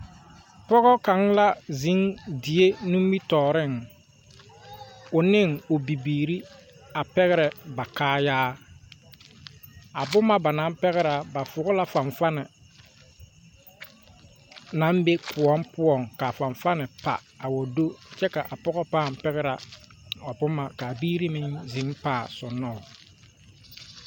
Pɔge kaŋa la ziŋ o die nimi tooriŋ o ne o biiri a pɛŋrɛ ba kaayaa ,a boma ba naŋ pɛŋrɛ ba fɔŋ la fanfani naŋ be koɔ poɔŋ ka a fanfani pa a wa te do kyɛ ka a pɔge pɛŋrɛ a boma kyɛ kaa biiri paŋ ziŋ soŋno o.